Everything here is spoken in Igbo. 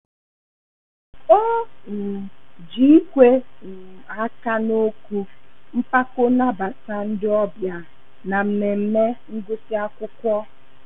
O um ji ikwe um aka ná okwu mpako nabata ndị ọbịa na mmemme ngusi akwụkwọ